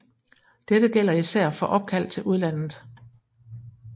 Dette gælder især for opkald til udlandet